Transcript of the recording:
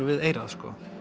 við eyrað